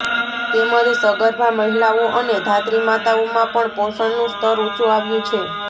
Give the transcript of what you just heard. તેમજ સગર્ભા મહિલાઓ અને ધાત્રીમાતાઓમાં પણ પોષણનું સ્તર ઉંચુ આવ્યુ છે